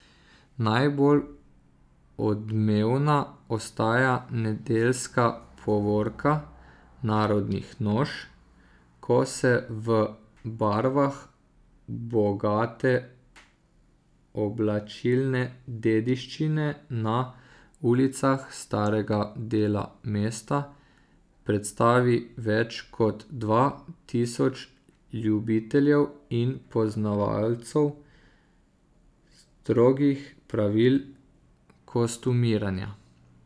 Najbolj odmevna ostaja nedeljska povorka narodnih noš, ko se v barvah bogate oblačilne dediščine na ulicah starega dela mesta predstavi več kot dva tisoč ljubiteljev in poznavalcev strogih pravil kostumiranja.